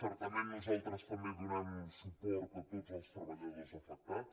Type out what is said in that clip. certament nosaltres també donem suport a tots els treballadors afectats